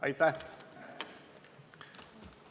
Aitäh!